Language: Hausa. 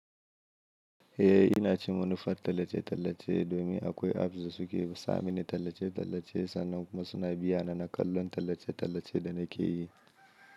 Eh ina cin manufar tallace-tallace domin akwai apps da suke sa mani tallace-tallace sannan kuma suna biyana na kallon tallace-tallace da nake yi.